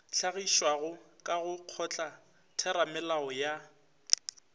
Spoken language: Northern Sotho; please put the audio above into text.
hlagišwago ka go kgotlatheramolao ya